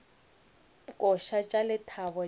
le dikoša tša lethabo tša